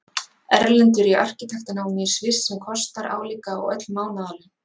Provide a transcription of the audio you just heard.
Erlendur í arkitektanámi í Sviss, sem kostar álíka og öll mánaðarlaun